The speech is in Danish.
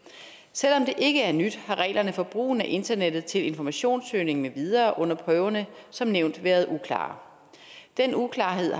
selv om det ikke er nyt har reglerne for brugen af internettet til informationssøgning med videre under prøverne som nævnt været uklare den uklarhed